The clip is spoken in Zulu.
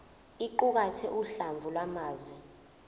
iqukathe uhlamvu lwamazwi